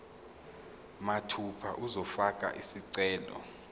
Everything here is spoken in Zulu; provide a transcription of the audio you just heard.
mathupha uzofaka isicelo